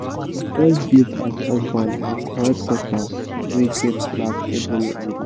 him first gift as husband na correct cutlass wey get black ebony handle